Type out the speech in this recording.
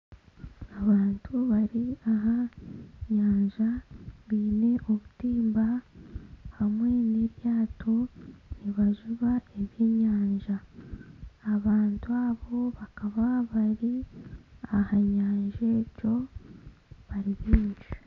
Abantu bari aha nyanja baine obutimba hamwe n'eryato nibajuba ebyenyanja. Abantu abo bakaba bari aha nyanja egyo bari baingi.